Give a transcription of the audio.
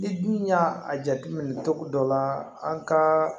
Ni dun y'a a jateminɛ cogo dɔ la an ka